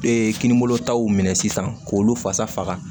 Ee kininbolo taw minɛ sisan k'olu fasa faga